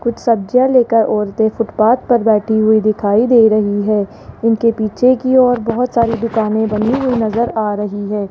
कुछ सब्जियां लेकर औरतें फुटपाथ पर बैठी हुई दिखाई दे रही है इनके पीछे की ओर बहोत सारी दुकानें बनी हुई नजर आ रही है।